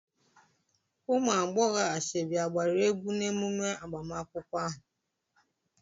ụmụ agbọghọ asoebi agbara egwu n'emume agbamakwụkwọ ahụ?